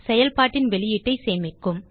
செயல்பாட்டின் வெளியீட்டைச் சேமிக்கும்